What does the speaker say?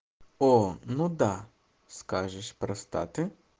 о ну да скажешь простаты